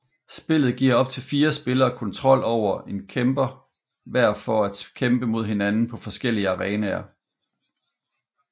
Spillet giver op til fire spillere kontrol over en kæmper hver for at kæmpe mod hinanden på forskellige arenaer